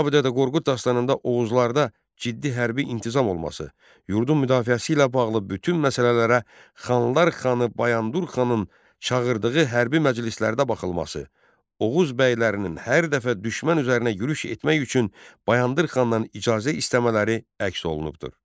Kitabi Dədə Qorqud dastanında Oğuzlarda ciddi hərbi intizam olması, yurdun müdafiəsi ilə bağlı bütün məsələlərə Xanlar Xanı Bayandur Xanın çağırdığı hərbi məclislərdə baxılması, Oğuz bəylərinin hər dəfə düşmən üzərinə yürüş etmək üçün Bayandur Xandan icazə istəmələri əks olunubdur.